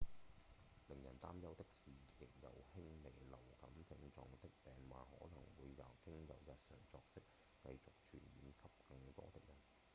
令人擔憂的是仍有輕微流感症狀的病患可能會經由日常作息繼續傳染給更多的人